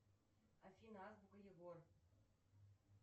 афина азбука егор